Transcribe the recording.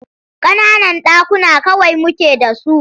Ƙananan ɗakuna kawai muke da su.